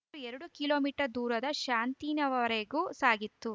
ಮಾರು ಎರಡು kilometre ದೂರದ ಶಾಂತಿನವರೆಗು ಸಾಗಿತು